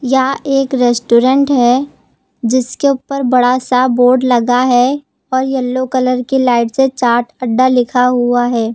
यह एक रेस्टोरेंट है जिसके ऊपर बड़ा सा बोर्ड लगा है और येलो कलर की लाइट से चाट अड्डा लिखा हुआ है।